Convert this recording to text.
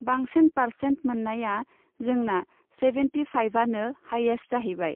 बांसिन पार्सेन्ट मोननाया जोंना सेभेन्टि फाइभआनो हाइयेस्ट जाहैबाय।